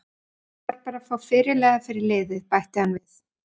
Ég þarf bara að fá fyrirliða fyrir liðið, bætti hann við.